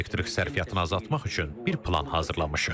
Elektrik sərfiyyatını azaltmaq üçün bir plan hazırlamışıq.